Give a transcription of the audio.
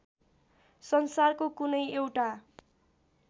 संसारको कुनै एउटा